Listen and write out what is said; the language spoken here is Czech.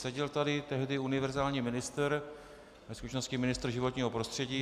Seděl tady tehdy univerzální ministr, ve skutečnosti ministr životního prostředí.